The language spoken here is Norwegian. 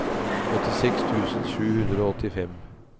åttiseks tusen sju hundre og åttifem